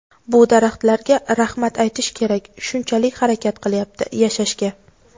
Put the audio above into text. Bu daraxtlarga rahmat aytish kerak shunchalik harakat qilyapti yashashga.